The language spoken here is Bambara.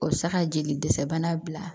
O bɛ se ka jeli dɛsɛ bana bila